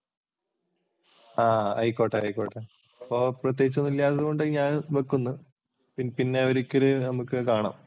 ആ ആയിക്കോട്ട് ആയിക്കോട്ട്. അപ്പോൾ പ്രത്യേകിച്ചൊന്നുമില്ലാത്തതു കൊണ്ട് ഞാൻ വക്കുന്നു. പിന്നെ ഒരിക്കല് നമുക്ക് കാണാം.